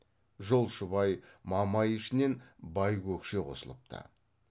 жолшыбай мамай ішінен байкөкше қосылыпты